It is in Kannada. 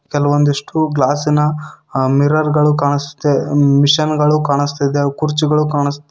ಕೆಲವೊಂದಿಷ್ಟು ಗ್ಲಾಸಿ ನ ಅ ಮಿರರ್ ಗಳು ಕಾಣಿಸುತ್ತೆ ಮಷೀನ್ ಗಳು ಕಾಣಿಸುತ್ತಿದೆ ಕುರ್ಚಿಗಳು ಕಾಣಿ --